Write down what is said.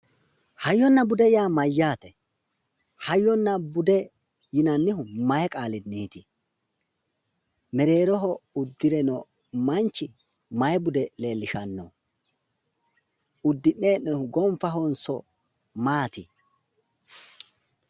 Hayyonna bude yaa mayyaate? Hayyonna bude yinannihu maayi qaalinniiti? Mereeroho uddire noo manchi maayi bude leellishshanno? uddi'ne hee'noonnihu gonfahonso maati?